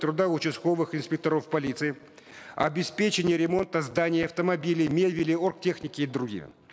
труда участковых инспекторов полиции обеспечение ремонта зданий автомобилей мебели оргтехники и другим